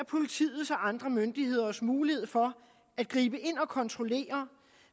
politiets og andre myndigheders mulighed for at gribe ind og kontrollere